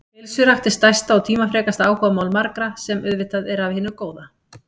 Heilsurækt er stærsta og tímafrekasta áhugamál margra, sem auðvitað er af hinu góða.